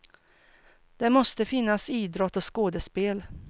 Det måste finnas idrott och skådespel.